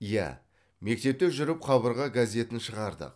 иә мектепте жүріп қабырға газетін шығардық